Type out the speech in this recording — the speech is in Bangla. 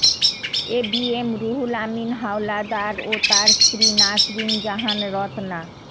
এবিএম রুহুল আমিন হাওলাদার ও তার স্ত্রী নাসরিন জাহান রত্না